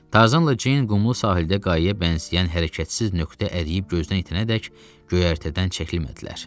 Tarzanla Ceyn qumlu sahildə qayaya bənzəyən hərəkətsiz nöqtə əriyib gözdən itənədək göyərtədən çəkilmədilər.